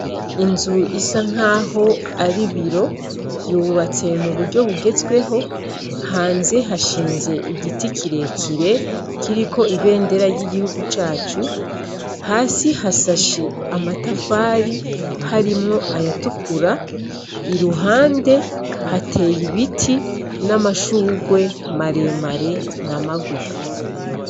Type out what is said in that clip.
Inzu isa nk'aho ari ibiro yubatswe mu buryo bugezweho. Hanze hashinze igiti kirekire kiriko ibendera ry'igihugu cacu, hasi hasashe amatafari harimwo ayatukura, iruhande heteye ibiti n'amashurwe maremare na magufi.